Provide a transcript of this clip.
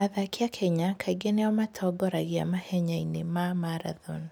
Athaki a Kenya kaingĩ nĩo matongoragia mahenya-inĩ ma marathoni.